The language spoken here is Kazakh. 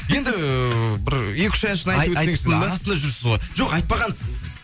енді бір екі үш әншіні арасында жүрсіз ғой жоқ айтпағансыз сіз